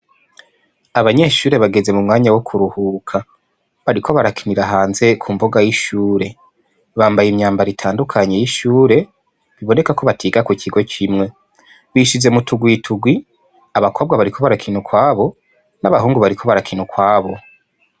Abanyeshure bageze mu mwanya wo kuruhuka bariko bakinira hanze kumbuga y'ishure, bambaye imyambaro itandukanye y'ishure biboneka ko batiga ku kigo kimwe bishize mu tugwi tugwi abakobwa bariko barakina ukwabo n'abahungu bariko barakina ukwabo.